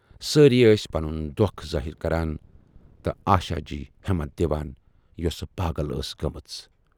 سٲری ٲس پنُن دۅکھ ظٲہِر کران تہٕ آشا جی ہٮ۪متھ دِوان یۅسہٕ پاگل ٲسۍ گٲمٕژ۔